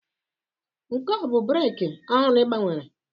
Nke a ọ bụ breeki ọhụrụ ị gbanwere?